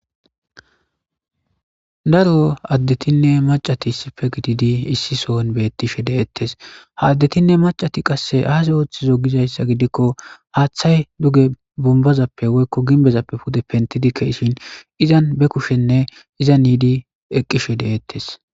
Daro addeethinne maccathi issipe gididi issi sohon beeththishe de7eeththes; ha addethinne maccathi qassi aaze ooththizo gizayssa gidikko haaththay duga bombbazappe woykko gimbbezappe pude penththidi ke7ishin izan be kushenne izanidi eqqishe de7eeththes.